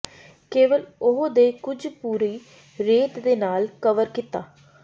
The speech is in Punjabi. ਕੇਵਲ ਉਹ ਦੇ ਕੁਝ ਪੂਰੀ ਰੇਤ ਦੇ ਨਾਲ ਕਵਰ ਕੀਤਾ